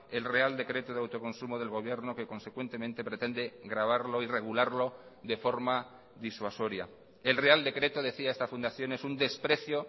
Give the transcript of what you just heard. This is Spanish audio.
el real decreto de autoconsumo del gobierno que consecuentemente pretende gravarlo y regularlo de forma disuasoria el real decreto decía esta fundación es un desprecio